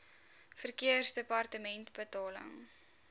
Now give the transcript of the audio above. verkeersdepartementebetaling